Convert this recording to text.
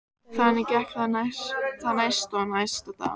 Þannig gekk það næsta og næsta dag.